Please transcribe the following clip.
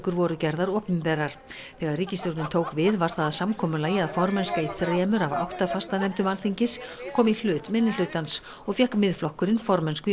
voru gerðar opinberar þegar ríkisstjórnin tók við varð það að samkomulagi að formennska í þremur af átta fastanefndum Alþingis kom í hlut minnihlutans og fékk Miðflokkurinn formennsku í